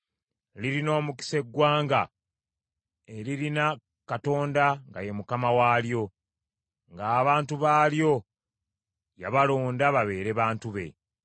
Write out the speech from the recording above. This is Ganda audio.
Lirina omukisa eggwanga eririna Katonda nga ye Mukama waalyo, ng’abantu baalyo yabalonda babeere bantu be.